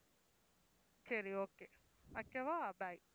சரி okay வைக்கவா bye